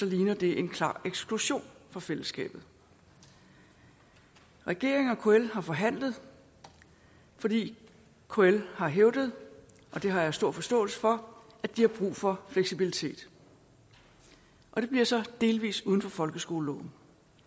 ligner det en klar eksklusion fra fællesskabet regeringen og kl har forhandlet fordi kl har hævdet og det har jeg stor forståelse for at de har brug for fleksibilitet det bliver så delvis uden for folkeskoleloven